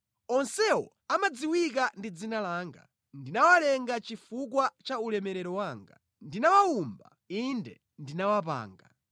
onsewo amadziwika ndi dzina langa; ndinawalenga chifukwa cha ulemerero wanga, ndinawawumba, inde ndinawapanga.”